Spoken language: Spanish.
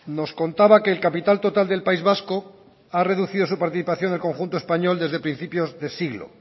nos contaba que el capital total del país vasco ha reducido su participación del conjunto español desde principios de siglo